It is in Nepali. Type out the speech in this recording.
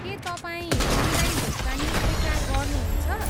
के तपाईँ अनलाइन भुक्तानी स्वीकार गर्नुहुन्छ?